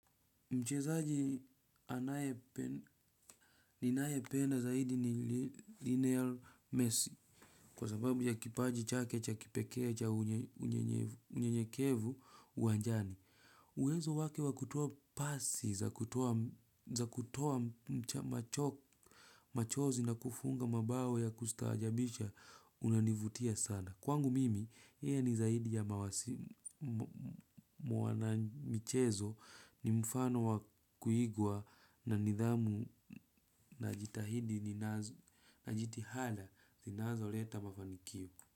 Mchezaji anaye. Ninaependa zaidi ni, Lionel Messi. Kwa sababu ya kipaji chake cha kipekee cha unyenyekevu uanjani. Uwezo wake wa kutoa, pasi za kutoa. Machozi na kufunga mabao ya kustaajabisha, unanivutia sana. Kwangu mimi, yeye ni zaidi ya mwanamichezo ni mfano wa kuigua, na nidhamu na jitihada, zinazo leta mafanikio.